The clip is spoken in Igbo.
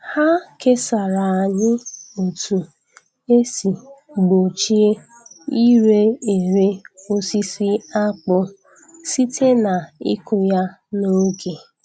Ha kesara anyị otu esi gbochie ire ere osisi akpụ site n’ịkụ ya n’oge.